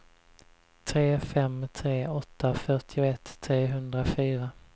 tre fem tre åtta fyrtioett trehundrafyra